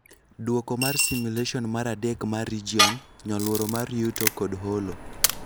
Duoko mar simulation mar adek mar region, nyoluoro mar yuto kod holo.